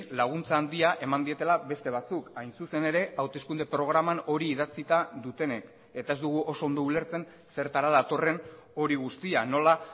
laguntza handia eman dietela beste batzuk hain zuzen ere hauteskunde programan hori idatzita dutenek eta ez dugu oso ondo ulertzen zertara datorren hori guztia nola